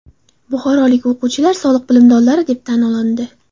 Buxorolik o‘quvchilar soliq bilimdonlari deb tan olindi.